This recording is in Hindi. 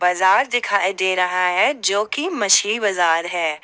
बाजार दिखाई दे रहा है जो की मछली बाजार है।